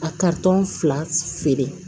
A fila feere